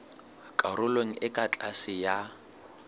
karolong e ka tlase ya